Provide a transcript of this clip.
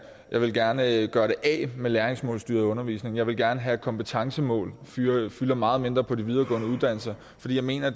jeg vil gerne gøre det af med læringsmålsstyret undervisning jeg vil gerne have at kompetencemål fylder fylder meget mindre på de videregående uddannelser fordi jeg mener